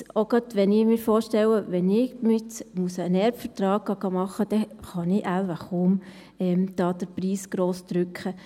Jetzt gerade auch, wenn ich mir vorstelle, dass ich jetzt hingehen und einen Erbvertrag machen lassen muss, dann kann ich da wohl kaum den Preis gross drücken.